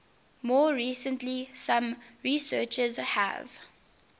more recently some researchers have